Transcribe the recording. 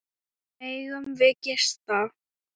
Megum við gista?